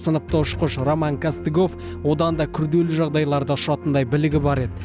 сыныпты ұшқыш роман костыгов одан да күрделі жағдайларда ұшатындай білігі бар еді